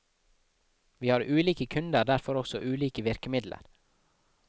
Vi har ulike kunder derfor også ulike virkemidler.